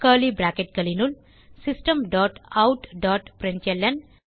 curly bracketகளினுள் system dot out dot println